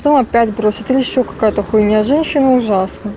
то опять просит то ещё какая-то хуйня женщины ужасны